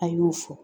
A y'o fɔ